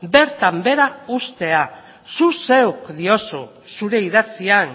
bertan behera uztea zuk zeuk diozu zure idatzian